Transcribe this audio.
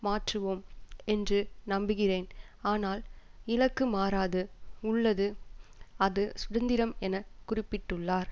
மாற்றுவோம் என்று நம்புகிறேன் ஆனால் இலக்கு மறாது உள்ளது அது சுதந்திரம் என குறிப்பிட்டுள்ளார்